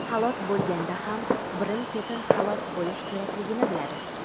halok bo‘lganda ham birin-ketin halok bo‘lish kerakligini biladi.